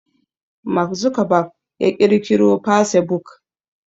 Mark Zuckerberg ya ƙirkiro fasebuk